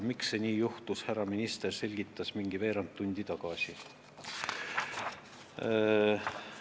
Härra minister selgitas veerand tundi tagasi, miks nii juhtus.